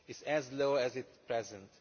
as low as at present.